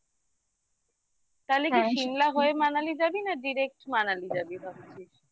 তাহলে কি Simla হয়ে manali যাবি না direct Manali যাবি ভাবছিস